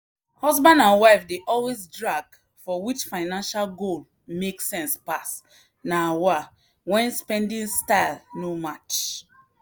husband and wife dey always drag for which financial goal make sense pass na wah when spending style no match.